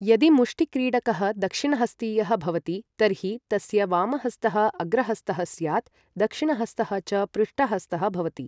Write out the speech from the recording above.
यदि मुष्टिक्रीडकः दक्षिणहस्तीयः भवति तर्हि तस्य वामहस्तः अग्रहस्तः स्यात्, दक्षिणहस्तः च पृष्ठहस्तः भवति।